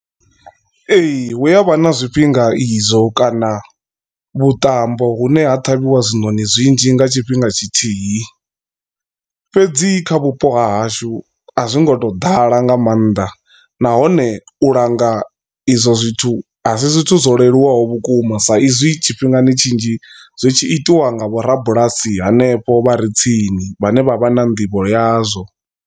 Ee hu avha na zwifhinga izwo kana vhuṱambo vhune ha ṱhavhiwa hezwinoni zwinzhi nga tshifhinga tshithihi fhedzi kha vhupo hahashu a zwi ngo to ḓala nga maanḓa nahone u langa izwo zwithu asi zwithu zwo leluwaho vhukuma sa izwi tshifhingani tshinzhi zwi tshi itiwa nga vho rabulasi hanefho vha re tsini vhane vha vha na nḓivho yazwo.